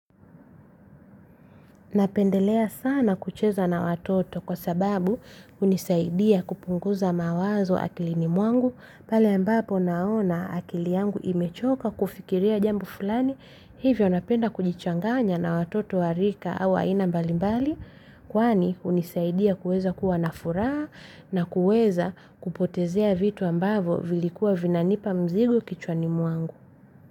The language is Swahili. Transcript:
Napendelea sana kucheza na watoto kwa sababu, hunisaidia kupunguza mawazo akilini mwangu, pale ambapo naona akili yangu imechoka kufikiria jambo fulani. Hivyo napenda kujichanganya na watoto wa rika au aina mbali mbali, kwani hunisaidia kuweza kuwa na furaha na kuweza kupotezea vitu ambavyo vilikuwa vinanipa mzigo kichwani mwangu.